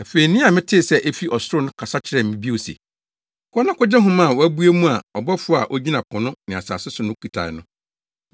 Afei nne a metee sɛ efi ɔsoro no kasa kyerɛɛ me bio se. “Kɔ na kogye nhoma a wɔabue mu a ɔbɔfo a ogyina po ne asase so no kitae no.”